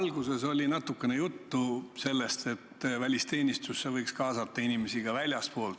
Alguses oli natukene juttu sellest, et välisteenistusse võiks kaasata inimesi ka väljastpoolt.